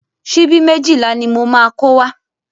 Síbí méjìlá ni mo máa kó wá.